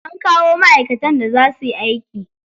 An kawo ma'aikatan da za suyi aiki.